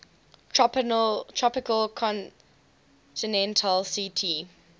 tropical continental ct